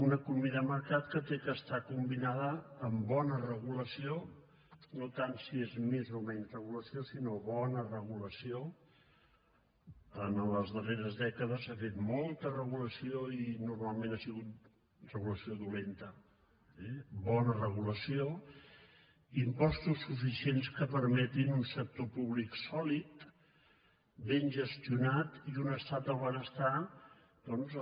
una economia de mercat que ha d’estar combinada amb bona regulació no tant si és més o menys regulació sinó bona regulació les darreres dècades s’ha fet molta regulació i normalment ha sigut regulació dolenta eh impostos suficients que permetin un sector públic sòlid ben gestionat i un estat del benestar doncs